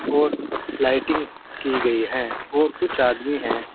और लाइटिंग की गई है और कुछ आदमी है।